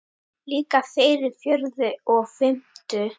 Líka þeirri fjórðu og fimmtu.